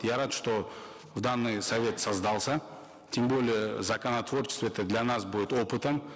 я рад что данный совет создался тем более законотворчество это для нас будет опытом